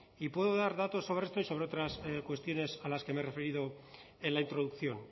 y puedo dar datos sobre esto y sobre otras cuestiones a las que me he referido en la introducción